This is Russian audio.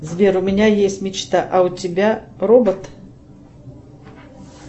сбер у меня есть мечта а у тебя робот